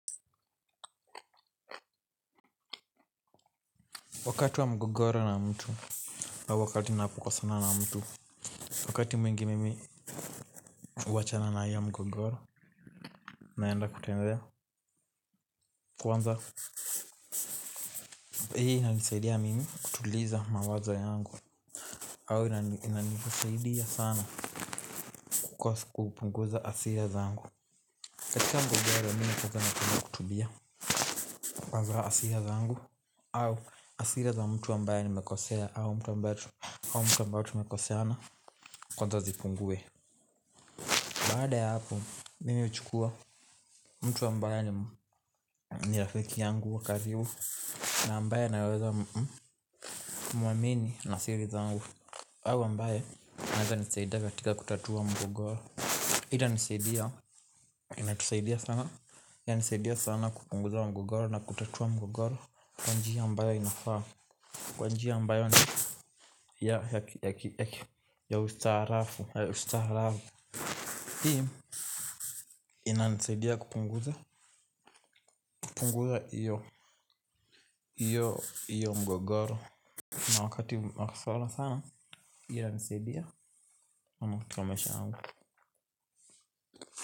Wakati wa mgogoro na mtu wakati unapo kosana na mtu wakati mwingi mimi huachana na hio mgogoro naenda kutembea kwanza hii inanisaidia mimi kutuliza mawazo yangu au inanisaidia sana kupunguza hasira zangu katika mgogoro mimi kwanza napenda kutulia kwanza hasira zangu au hasira za mtu ambaye nimekosea au mtu ambaye tumekoseana kwanza zipungue. Baada ya hapo, mimi huchukua mtu ambaye ni rafiki yangu wa karibu. Na ambaye anaweza mwamini na siri zangu au ambaye, anaweza nisaidia katika kutatua mgogoro. Hii itanisaidia, inatusaidia sana inanisaidia sana kupunguza mgogoro na kutatua mgogoro. Kwa njia ambayo inafaa. Kwa njia ambayo ni ya ustaarafu. Hii, inanisaidia kupunguza hiyo mgogoro. Na wakati wa kuswala sana. Hiyo inansaidia katika maisha yangu.